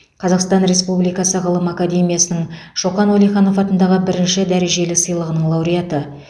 қазақстан республикасы ғылым академиясының шоқан уәлиханов атындағы бірінші дәрежелі сыйлығының лауреаты